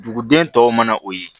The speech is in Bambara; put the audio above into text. Duguden tɔw mana o ye